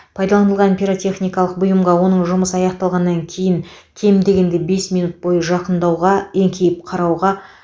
пайдаланылған пиротехникалық бұйымға оның жұмысы аяқталғаннан кейін кем дегенде бес минут бойы жақындауға еңкейіп қарауға